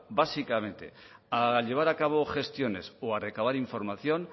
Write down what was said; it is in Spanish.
básicamente a llevar a cabo gestiones o a recabar información